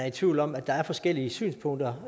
i tvivl om at der er forskellige synspunkter